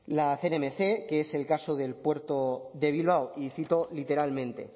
la cnmc que es el caso del puerto de bilbao y cito literalmente